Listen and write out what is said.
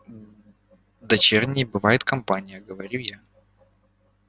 дочерней бывает компания говорю я